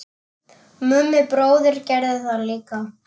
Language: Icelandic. Mummi bróðir gerði það líka.